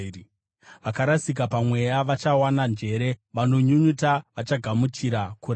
Vakarasika pamweya vachawana njere; vanonyunyuta vachagamuchira kurayirwa.”